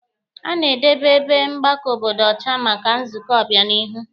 A na-edebe ebe mgbakọ obodo ọcha maka nzukọ ọbịanihu